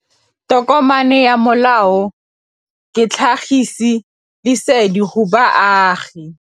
Tokomane ya molao ke tlhagisi lesedi go baagi.